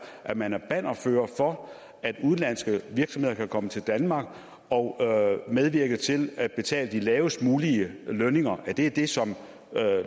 at man er bannerfører for at udenlandske virksomheder kan komme til danmark og medvirke til at betale de lavest mulige lønninger er det det som